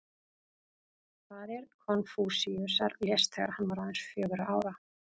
Faðir Konfúsíusar lést þegar hann var aðeins fjögurra ára.